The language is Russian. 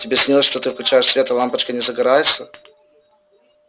тебе снилось что ты включаешь свет а лампочка не загорается